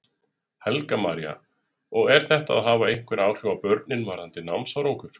Helga María: Og er þetta að hafa einhver áhrif á börnin varðandi námsárangur?